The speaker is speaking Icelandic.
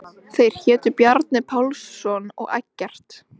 Þeir hétu Bjarni Pálsson og Eggert